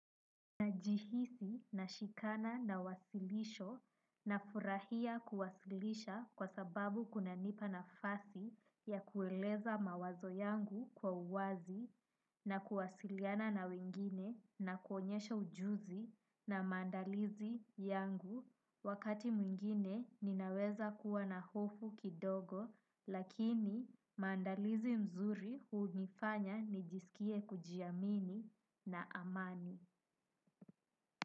Najihisi na shikana na wasilisho na furahia kuwasilisha kwa sababu kuna nipa na fasi ya kueleza mawazo yangu kwa uwazi na kuwasiliana na wengine na kuonyesha ujuzi na mandalizi yangu wakati mwingine ninaweza kuwa na hofu kidogo lakini maandalizi mzuri hunifanya nijisikie kujiamini na amani.